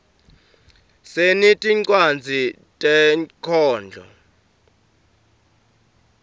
sinetincwadzi tenkhondlo